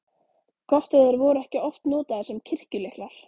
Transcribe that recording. Gott ef þeir voru ekki oft notaðir sem kirkjulyklar.